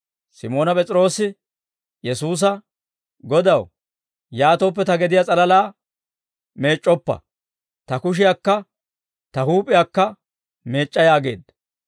Simoona P'es'iroose Yesuusa, «Godaw, yaatooppe, ta gediyaa s'alalaa meec'c'oppa; ta kushiyaakka ta huup'iyaakka meec'c'a!» yaageedda.